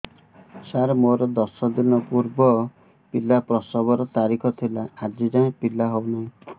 ସାର ମୋର ଦଶ ଦିନ ପୂର୍ବ ପିଲା ପ୍ରସଵ ର ତାରିଖ ଥିଲା ଆଜି ଯାଇଁ ପିଲା ହଉ ନାହିଁ